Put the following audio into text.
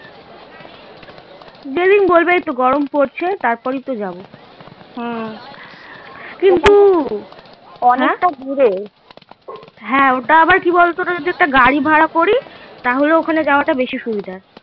দু দিন বাদে তো গরম পড়ছে তার পরে এতো যাবো ওটা আবার কি বল তো যদি একটা গাড়ি ভাড়া করি তাহলে ওখানে যাওয়াটা বেশি সুবিধা